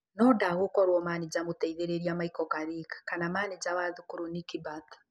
No ndagũkorwo manĩja mũteithĩrĩria Michael Carrick kana manĩja wa thukuru Nicky Butt